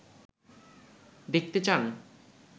দেখতে চান